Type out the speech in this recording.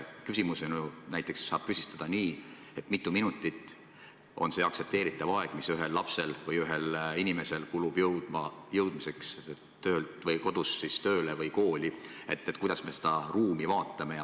Küsimuse saab näiteks püstitada nii, et kui mitu minutit on aktsepteeritav aeg, mis inimesel kulub jõudmiseks töölt koju või kodust tööle või kooli, kuidas me seda ruumi vaatame.